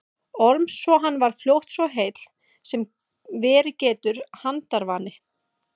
Orms svo hann varð fljótt svo heill sem verið getur handarvani.